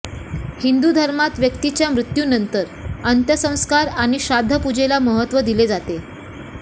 हिंदू धर्मात व्यक्तीच्या मृत्यूनंतर अंत्यसंस्कार आणि श्राद्धपूजेला महत्त्व दिले जाते